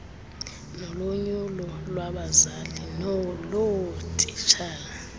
nolonyulo lwabazali loootitshala